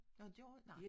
Nå gjorde? Nej